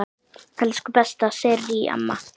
Elsku besta Sirrý amma.